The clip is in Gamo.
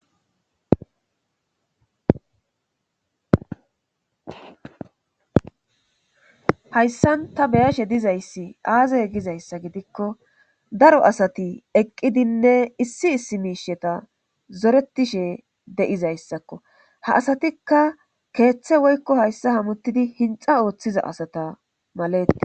Hayssan ta beyashe dizayssi aaze gizayssa gidikko daro asati eqqidinne issi issi miisheta zoretishe de'izayssakko ha asatikka keeththe woykko hayssa hamuttidi hinxa ooththiza asata maletes